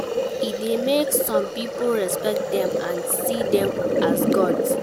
E de make some pipo respect dem and see dem as gods